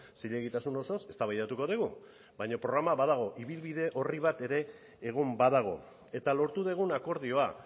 zilegitasun osoz eztabaidatuko dugu baina programa badago ibilbide orri bat ere egon badago eta lortu dugun akordioa